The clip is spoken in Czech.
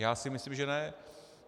Já si myslím, že ne.